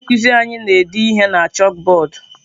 Onye nkuzi anyị na-ede ihe na chakụbọọdụ.